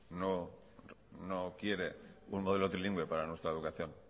no quiere un modelo trilingüe para nuestra educación